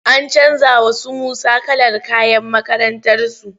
An canja wa su Musa kalar kayan makakrantarsu.